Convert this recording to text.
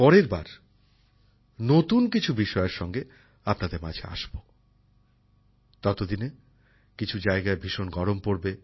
পরেরবার নতুন কিছু বিষয়ের সঙ্গে আপনাদের মাঝে আসবো ততদিনে কিছু জায়গায় ভীষণ গরম পড়বে